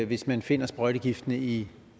hvis man finder sprøjtegifte i